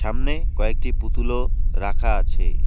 সামনে কয়েকটি পুতুলও রাখা আছে।